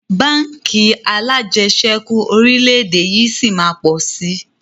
Báńkì alajẹsẹ́kù orílédé yìí sí máa pọ̀ si